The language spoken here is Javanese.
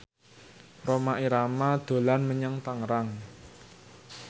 Rhoma Irama dolan menyang Tangerang